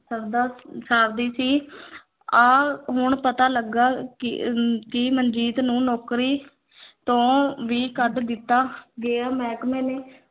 ਸਰਦਾ ਸਾਰਦੀ ਸੀ ਆਹ ਹੁਣ ਪਤਾ ਲੱਗਾ ਕਿ ਮਨਜੀਤ ਨੂੰ ਨੌਕਰੀ ਤੋਂ ਵੀ ਕੱਢ ਦਿੱਤਾ ਗਿਆ ਮਹਿਕਮੇ ਨੇ